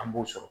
An b'o sɔrɔ